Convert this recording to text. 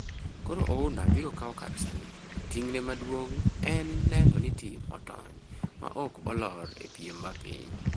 Koro Ouna biro kawo kar Salim, to ting'ne maduong' en neno ni tim otony ma ok olor e piem mapiny.